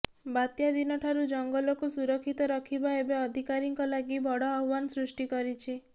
ବାତ୍ୟା ଦିନଠାରୁ ଜଙ୍ଗଲକୁ ସୁରକ୍ଷିତ ରଖିବା ଏବେ ଅଧିକାରୀଙ୍କ ଲାଗି ବଡ଼ ଆହ୍ବାନ ସୃଷ୍ଟି କରିଛି